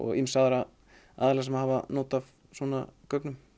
ýmsa aðra aðila sem hafa not af svona gögnum